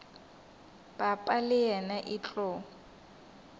papa le yena e tlo